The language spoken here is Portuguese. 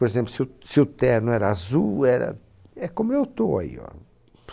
Por exemplo, se o se o terno era azul, era é como eu estou aí, oh.